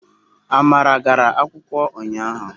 Amara gara akwukwo unyahu